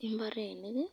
imbarenik